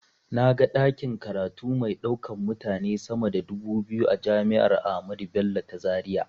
Na ga ɗakin karatu mai ɗaukan mutane sama da dubu biyu a jami'ar ahmadu bello ta zaria.